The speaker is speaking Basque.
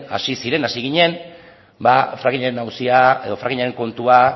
hasi ginen frackingaren auzia edo frackingaren kontua